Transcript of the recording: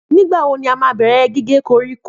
Nígbà wo ni a máa bẹ̀rẹ̀ gígé koríko?